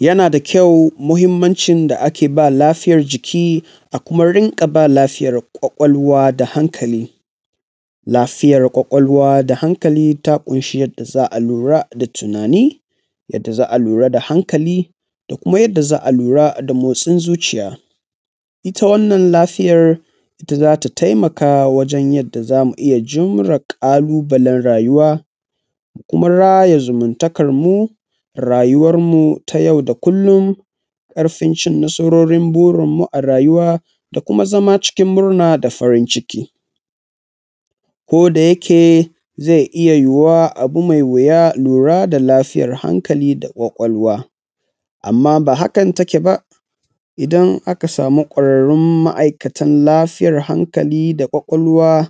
Yana da kyau muhinmanci da ake ba lafiya jiki a kuma rinƙa ba lafiyar ƙwaƙwalwa da hankali. Lafiyar ƙwaƙwalwa da hankali ta ƙunshi yanda za a lura da tunani, yanda za a lura da hankali da kuma yanda za a lura da motsin zuciya. Ita wannan lafiyar ita za ta taimaka wajan yanda za mu iya jure ƙalubalan rayuwa, mu kuma raya zumuntakan mu, rayuwar mu ta yau da kullum, ƙarfin cin nasarorin burinmu a rayuwa da kuma zama cikin murna da farin ciki. Ko da yake zai iya yuwuwa abu mai wuya lura da lafiyar hankali da ƙwaƙwalwa, amma ba hakan take ba idan aka samu ƙwararun ma'aikatan lafiya hankali da ƙwaƙwalwa